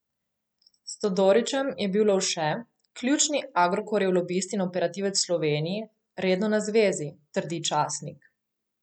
S Todorićem je bil Lovše, ključni Agrokorjev lobist in operativec v Sloveniji, redno na zvezi, trdi časnik.